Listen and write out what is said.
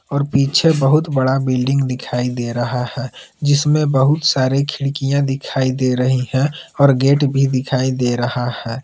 और पीछे बहुत बड़ा बिल्डिंग दिखाई दे रहा है जिसमें बहुत सारे खिड़कियां दिखाई दे रही हैं और गेट भी दिखाई दे रहा है।